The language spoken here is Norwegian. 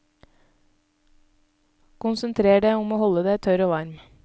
Konsentrer deg om å holde deg tørr og varm.